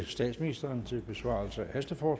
statsministerens besvarelse